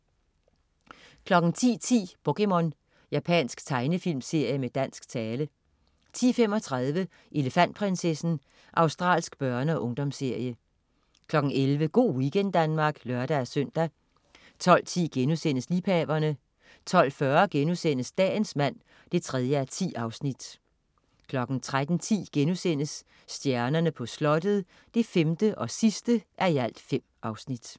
10.10 POKéMON. Japansk tegnefilmserie med dansk tale 10.35 Elefantprinsessen. Australsk børne- og ungdomsserie 11.00 Go' weekend Danmark (lør-søn) 12.10 Liebhaverne* 12.40 Dagens mand 3:10* 13.10 Stjernerne på Slottet 5:5*